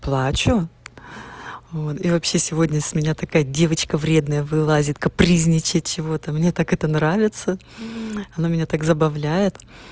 плачу вот и вообще сегодня с меня такая девочка вредная вылазит капризничает чего-то мне так это нравится она меня так забавляет